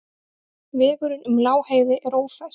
Vegurinn um Lágheiði er ófær.